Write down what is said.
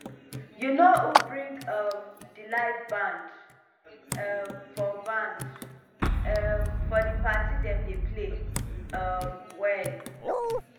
you know who bring um di live band um for band um for di party dem dey play um well